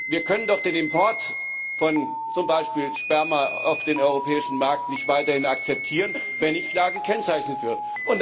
Wir können doch den Import von zum Beispiel Sperma auf den europäischen Markt nicht weiterhin akzeptieren, wenn nicht klar gekennzeichnet wird.